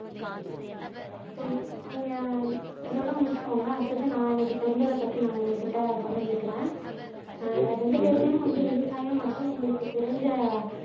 நீங்க நீங்க இதோட முடிச்சுகோங்க அடுத்தது நான் எனக்கு தெரிஞ்சத பத்தி நான் உங்கக்கிட்ட பகிர்ந்துக்குறேன் ஆஹ் ரெண்டு பேருமே வந்து விவசாயம் மற்றும் உங்களுக்கு தெரிஞ்ச